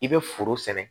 I bɛ foro sɛnɛ